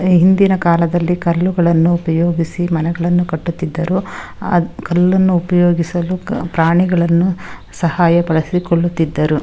ಹಿಂದಿನ ಕಾಲದಲ್ಲಿ ಕಲ್ಲುಗಳನ್ನು ಉಪಯೋಗಿಸಿ ಮನೆಗಳನ್ನು ಕಟ್ಟುತ್ತಿದ್ದರು ಆ ಕಲ್ಲನ್ನು ಉಪಯೋಗಿಸಲು ಪ್ರಾಣಿಗಳನ್ನು ಸಹಾಯ ಬಳಸಿಕೊಳ್ಳುತ್ತಿದ್ದರು.